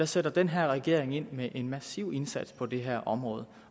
sætter den her regering ind med en massiv indsats på det her område